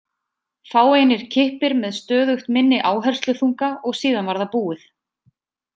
Fáeinir kippir með stöðugt minni áhersluþunga og síðan var það búið.